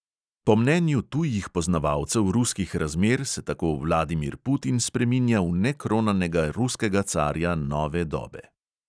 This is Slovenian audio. Po mnenju tujih poznavalcev ruskih razmer se tako vladimir putin spreminja v nekronanega ruskega carja nove dobe.